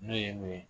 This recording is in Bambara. N'o ye mun ye